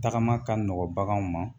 Tagama ka nɔgɔn baganw ma